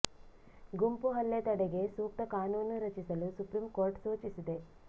ಗುಂಪು ಹಲ್ಲೆ ತಡೆಗೆ ಸೂಕ್ತ ಕಾನೂನು ರಚಿಸಲು ಸುಪ್ರೀಂ ಕೋರ್ಟ್ ಸೂಚಿಸಿದೆ